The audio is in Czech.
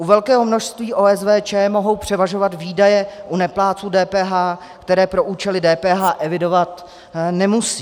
U velkého množství OSVČ mohou převažovat výdaje u neplátců DPH, které pro účely DPH evidovat nemusí.